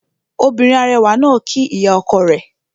Obìnrin arẹwà náà kíí ìyá ọkọ rẹ̀